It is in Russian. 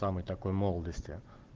самый такой молодости